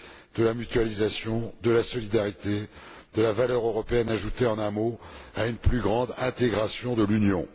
de la mutualisation, de la solidarité, de la valeur européenne ajoutée, en un mot, à une plus grande intégration de l'Union.